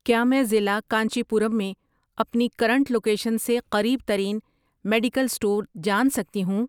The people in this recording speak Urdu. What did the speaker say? کیا میں ضلع کانچی پورم میں اپنی کرنٹ لوکیشن سے قریب ترین میڈیکل اسٹور جان سکتی ہوں؟